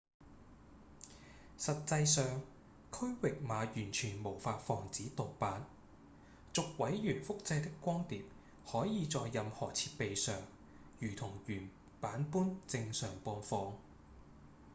實際上區域碼完全無法防止盜版；逐位元複製的光碟可以在任何設備上如同原版般正常播放